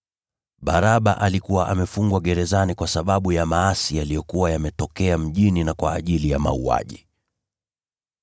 (Baraba alikuwa amefungwa gerezani kwa sababu ya maasi yaliyokuwa yametokea mjini, na kwa ajili ya uuaji.)